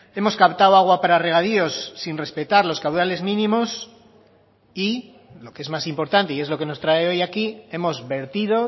hemos captado agua para regadíos sin respetar los caudales mínimos y lo que es más importante y es lo que nos trae hoy aquí hemos vertido